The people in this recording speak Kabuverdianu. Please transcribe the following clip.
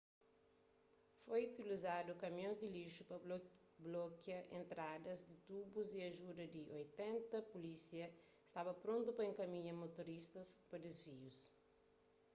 foi utilizadu kamions di lixu pa blokia entradas di tubus y ajuda di 80 pulísia staba prontu pa enkaminha motorista pa disvius